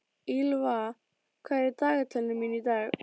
Ýlfa, hvað er í dagatalinu mínu í dag?